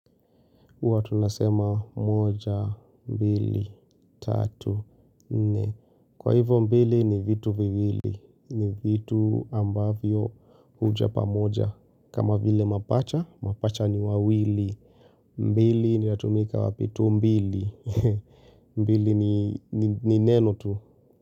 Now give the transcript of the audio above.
Uwa tunasema moja, mbili, tatu, nne. Kwa hivyo mbili ni vitu viwili. Ni vitu ambavyo huja pamoja. Kama vile mapacha, mapacha ni wawili. Mbili inaatumika wapi tumbili. Mbili ni neno tu.